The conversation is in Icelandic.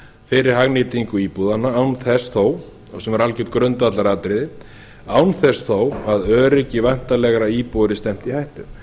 fyrir hagnýtingu íbúðanna án þess þó sem er algert grundvallaratriði án þess þó að öryggi væntanlegra íbúa yrði stefnt í hættu